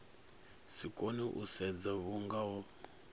si kone u sedza vhungoho